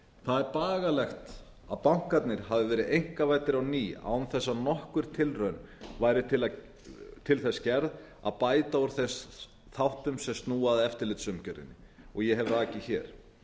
það er bagalegt að bankarnir hafi verið einkavæddir á ný án þess að nokkur tilraun væri til þess gerð að bæta úr þáttum sem snúa að eftirlitsumgjörðinni og ég hef rakið hér